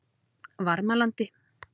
Varmalandi